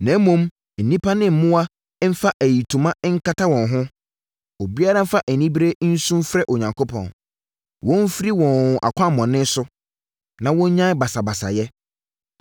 Na mmom nnipa ne mmoa mfa ayitoma nkata wɔn ho. Obiara mfa anibereɛ nsu mfrɛ Onyankopɔn. Wɔn mfiri wɔn akwammɔne so, na wɔnnyae basabasayɛ.